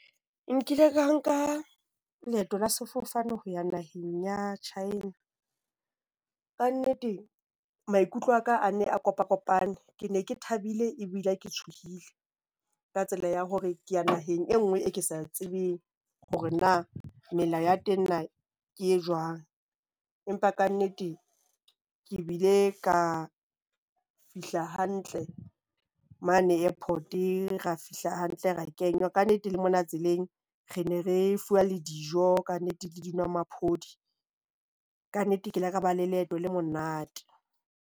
Nkile ka nka leeto la sefofane ho ya naheng ya China. Kannete maikutlo a ka a ne a kopakopane. Ke ne ke thabile ebile ke tshohile ka tsela ya hore ke ya naheng e nngwe e ke sa tsebeng hore na melao ya teng na ke e jwang. Empa kannete ke bile ka fihla hantle mane airport-e, ra fihla hantle, ra e kenywa Kannete, le mona tseleng re ne re fuwa le dijo, kannete ke dinwomaphodi. Kannete, ke ile ka ba le leeto le monate.